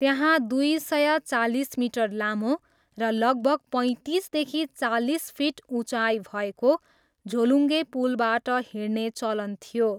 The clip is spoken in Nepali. त्यहाँ दुई सय चालिस मिटर लामो र लगभग पैँतिसदेखि चालिस फिट उचाइ भएको झोलुङ्गे पुलबाट हिँड्ने चलन थियो।